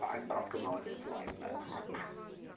ай братка молодец вай блять